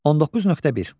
19.1.